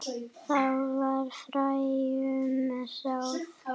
Þá var fræjum sáð.